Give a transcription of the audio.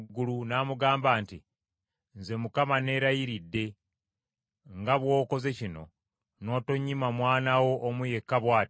n’amugamba nti, “Nze Mukama neerayiridde, nga bw’okoze kino, n’otonnyima mwana wo omu yekka bw’ati,